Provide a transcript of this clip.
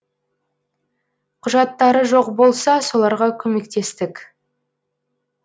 құжаттары жоқ болса соларға көмектестік